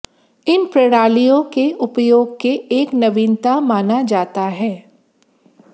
इन प्रणालियों के उपयोग के एक नवीनता माना जाता है